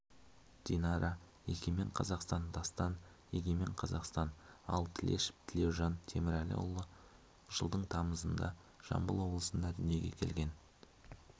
динара егемен қазақстан дастан егемен қазақстан ал тілешов тілеужан темірәліұлы жылдың тамызында жамбыл облысында дүниеге келген